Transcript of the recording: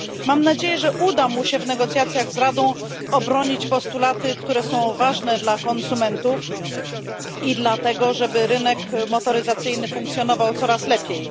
Mam nadzieję, że uda mu się w negocjacjach z Radą obronić postulaty, które są ważne dla konsumentów, żeby rynek motoryzacyjny funkcjonował coraz lepiej.